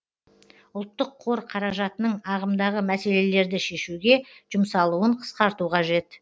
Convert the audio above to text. ұлттық қор қаражатының ағымдағы мәселелерді шешуге жұмсалуын қысқарту қажет